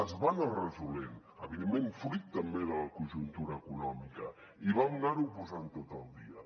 es va anar resolent evidentment fruit també de la conjuntura econòmica i vam anarho posant tot al dia